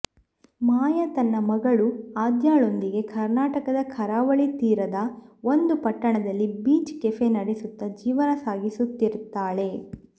ಮಾಯಾ ತನ್ನ ಮಗಳು ಆದ್ಯಳೊಂದಿಗೆ ಕರ್ನಾಟಕದ ಕರಾವಳಿ ತೀರದ ಒಂದು ಪಟ್ಟಣದಲ್ಲಿ ಬೀಚ್ ಕೆಫೆ ನೆಡೆಸುತ್ತಾ ಜೀವನ ಸಾಗಿಸುತ್ತಿರುತ್ತಾಳೆ